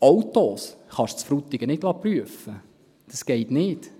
Autos kann man in Frutigen nicht prüfen lassen, das geht nicht.